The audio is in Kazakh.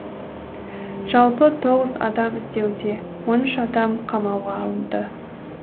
жалпы тоғыз адам іздеуде он үш адам қамауға алынды